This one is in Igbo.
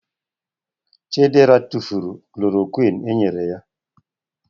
Chidera tufuru kolorokwini enyere ya